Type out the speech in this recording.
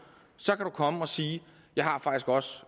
så kan man komme og sige jeg har faktisk også